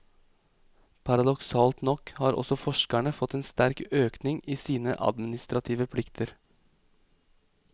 Paradoksalt nok har også forskerne fått en sterk økning i sine administrative plikter.